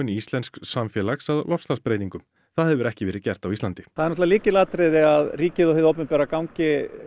íslensks samfélags að loftslagsbreytingum það hefur ekki verið gert á Íslandi það er lykilatriði að ríkið og hið opinbera gangi